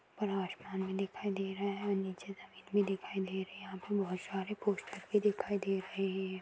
ऊपर आसमान भी दिखाई दे रहे है और नीचे जमीन भी दिखाई दे रही यहा पे बहुत सारे पोस्टर भी दिखाई दे रहे है।